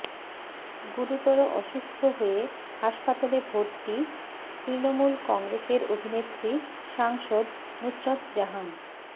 গুরুতর অসুস্থ হয়ে হাসপাতালে ভর্তি তৃণমূল কংগ্রেসের অভিনেত্রী সাংসদ নুসরত জাহান